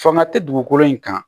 Fanga tɛ dugukolo in kan